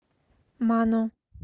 мано